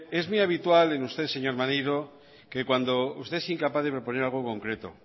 es muy habitual en usted señor maneiro que cuando usted es incapaz de proponer algo concreto